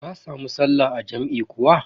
Ka samu sallah a jam'i kuwa?